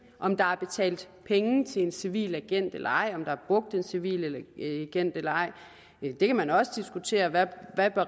om der er betalt penge til en civil agent eller ej om der er brugt en civil agent eller ej der kan man også diskutere hvad